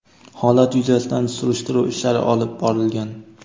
holat yuzasidan surishtiruv ishlari olib borilgan.